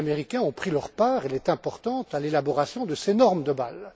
Les Américains ont pris leur part, et elle est importante, à l'élaboration de ces normes de Bâle.